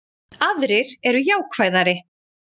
Aðrir eru jákvæðari